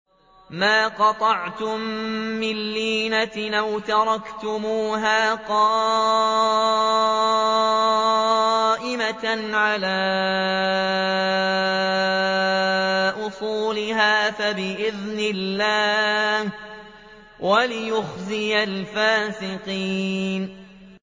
مَا قَطَعْتُم مِّن لِّينَةٍ أَوْ تَرَكْتُمُوهَا قَائِمَةً عَلَىٰ أُصُولِهَا فَبِإِذْنِ اللَّهِ وَلِيُخْزِيَ الْفَاسِقِينَ